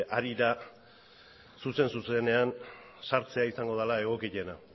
ari da zuzen zuzenean sartzea izango dala egokiena